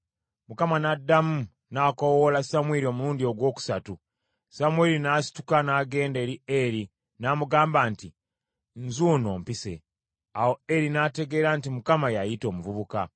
Mukama n’addamu n’akoowoola Samwiri omulundi ogwokusatu, Samwiri n’asituka n’agenda eri Eri n’amugamba nti, “Nzuuno, ompise.” Awo Eri n’ategeera nti Mukama y’ayita omuvubuka.